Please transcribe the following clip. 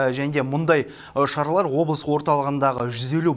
және де мұндай шаралар облыс орталығындағы жүз елу